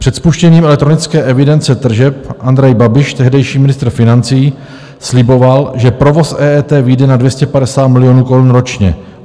Před spuštěním elektronické evidence tržeb Andrej Babiš, tehdejší ministr financí, sliboval, že provoz EET vyjde na 250 milionů korun ročně.